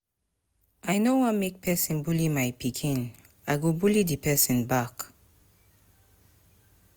I no wan make persin bully my pikin i go bully di persin back